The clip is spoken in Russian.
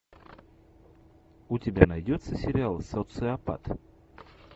у тебя найдется сериал социопат